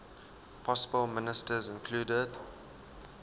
possible ministers included